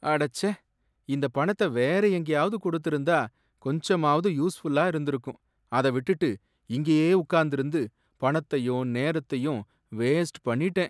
அடச்சே! இந்த பணத்த வேற எங்கேயாவது கொடுத்திருந்தா கொஞ்சமாவது யூஸ்ஃபுல்லா இருந்திருக்கும். அத விட்டுட்டு, இங்கேயே உக்காந்திருந்து பணத்தையும் நேரத்தையும் வேஸ்ட் பண்ணிட்டேன்.